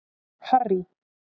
Harry